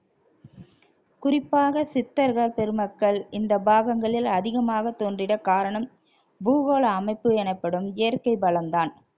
குறிப்பாக சித்தர்கள் பெருமக்கள் இந்த பாகங்களில் அதிகமாக தோன்றிட காரணம் பூகோள அமைப்பு எனப்படும் இயற்கை வளம்தான்